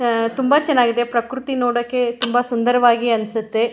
ಆ ತುಂಬ ಚೆನ್ನಾಗಿದೆ ಪ್ರಕೃತಿ ನೋಡಕೆ ತುಂಬ ಸುನ್ದರವಾಗಿ ಅನ್ಸತ್ತೆ.